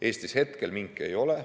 Eestis praegu minke ei ole.